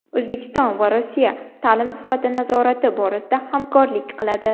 O‘zbekiston va Rossiya ta’lim sifati nazorati borasida hamkorlik qiladi.